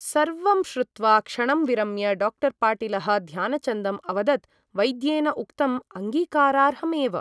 सर्वं श्रुत्वा क्षणं विरम्य डाक्टर् पाटीलः ध्यानचन्दम् अवदत् वैद्येन उक्तम् अङ्गीकारार्हम् एव ।